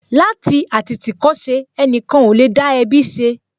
Láti àtìtìkọ́ṣe, ẹnìkan ò lè dá ẹbí ṣe